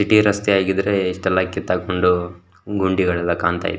ಇದೆ ರಸ್ತೆ ಆಗಿದ್ರೆ ಇಷ್ಟೆಲ್ಲ ಕಿತ್ತಾಕ್ಕೊಂಡು ಗುಂಡಿಗಳೆಲ್ಲ ಕಾಣ್ತಾ --